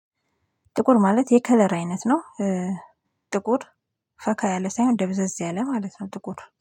ጥቁር ማለት የከለር አይነት ነው። ጥቁር ፈካ ያለ ሳይሆን ደብዘዝ ያለ ማለት ነው ጥቁር